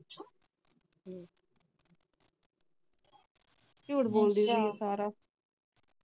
ਝੂਠ ਬੋਲਦੀ ਹੈ ਬਹੁਤ ਸਾਰਾ